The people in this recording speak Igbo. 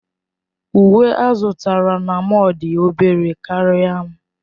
Uwe ọ zụtara na mọll dị obere karịa m.